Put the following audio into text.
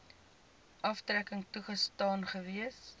aftrekking toegestaan gewees